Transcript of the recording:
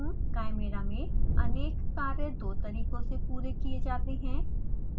chimera में अनेक कार्य दो तरीकों से पूरे किये जाते हैं